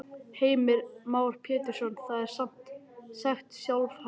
Heimir Már Pétursson: Það er sem sagt sjálfhætt?